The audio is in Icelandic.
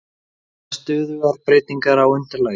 Eru það stöðugar breytingar á undirlagi?